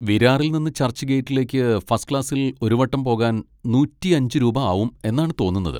വിരാറിൽ നിന്ന് ചർച്ച്ഗേറ്റിലേക്ക് ഫസ്റ്റ് ക്ലാസ്സിൽ ഒരു വട്ടം പോകാൻ നൂറ്റിയഞ്ച് രൂപ ആവും എന്നാണ് തോന്നുന്നത്.